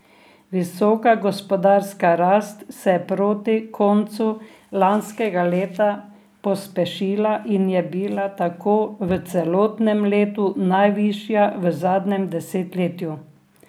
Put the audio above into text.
Visoka gospodarska rast se je proti koncu lanskega leta pospešila in je bila tako v celotnem letu najvišja v zadnjem desetletju.